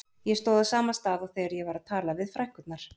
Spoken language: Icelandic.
Ég stóð á sama stað og þegar ég var að tala við frænkurnar.